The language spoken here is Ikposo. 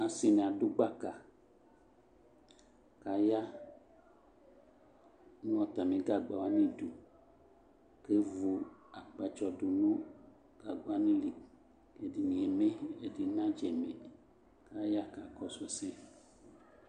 asii ni adʋ gbaka kʋ aya nʋ atami gagba wani idʋ kʋ ɛvʋ akpatsɔ dʋnʋ gagba wani li, ɛdini ɛmɛyi, ɛdi na dza mɛi, aya kakɔsʋ asɛ